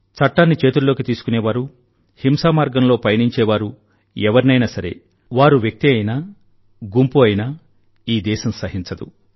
చట్టాన్ని చేతుల్లోకి తీసుకునే వారు హింసామార్గంలో పయనించేవారు ఎవరినైనా సరే వారు వ్యక్తి అయినా గుంపు అయినా ఈ దేశం సహించదు